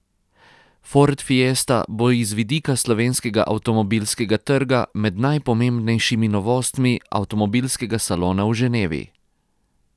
Ford fiesta bo iz vidika slovenskega avtomobilskega trga med najpomembnejšimi novostmi avtomobilskega salona v Ženevi.